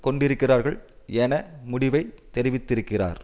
கொண்டிருக்கிறார்கள் என முடிவை தெரிவித்திருக்கிறார்